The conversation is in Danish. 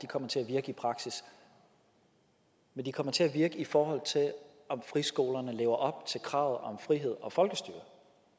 kommer til at virke i praksis men de kommer til at virke i forhold til om friskolerne lever op til kravet om frihed og folkestyre